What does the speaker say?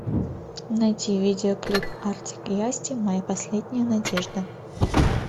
найти видеоклип артик и асти моя последняя надежда